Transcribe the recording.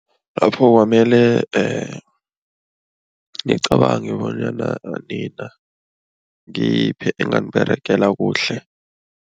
Lapho kwamele nicabange bonyana nina ngiyiphi enganiberegela kuhle.